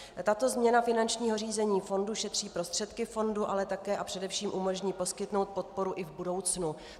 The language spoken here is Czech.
Tato změna finančního řízení fondu šetří prostředky fondu, ale také a především umožní poskytnout podporu i v budoucnu.